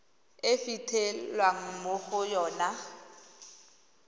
e fitlhelwang mo go yona